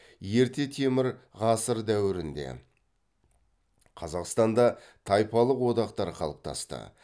ерте темір ғасыры дәуірінде қазақстанда тайпалық одақтар қалыптасты